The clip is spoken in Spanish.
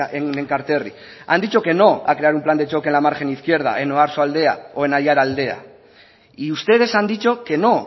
en enkanterriak han dicho que no a crear un plan de choque en la margen izquierda en oarsoaldea o en araialdea y ustedes han dicho que no